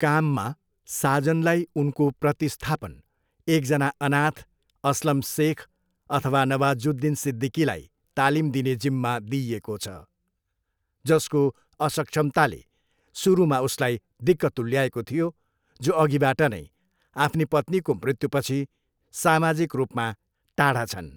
काममा, साजनलाई उनको प्रतिस्थापन, एकजना अनाथ, अस्लम सेख अथवा नवाजुद्दिन सिद्दिकीलाई तालिम दिने जिम्मा दिइएको छ, जसको असक्षमताले सुरुमा उसलाई दिक्क तुल्याएको थियो जो अघिबाट नै आफ्नी पत्नीको मृत्युपछि सामाजिक रूपमा टाढा छन्।